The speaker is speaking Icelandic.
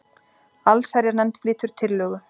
Allsherjarnefnd flytur tillögu